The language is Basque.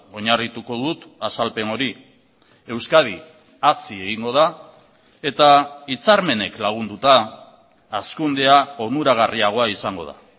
oinarrituko dut azalpen hori euskadi hazi egingo da eta hitzarmenek lagunduta hazkundea onuragarriagoa izango da